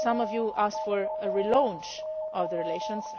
Some of you asked for a relaunch of relations.